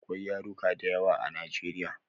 Akwai yaruka dayawa a nigeria